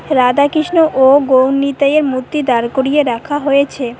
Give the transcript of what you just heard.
রাধাকৃষ্ণ ও গৌড়নিতাইয়ের মূর্তি দাঁড় করিয়ে রাখা হয়েছে